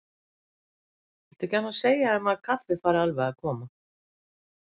Viltu ekki annars segja þeim að kaffið fari alveg að koma.